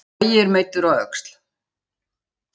Logi er meiddur í öxl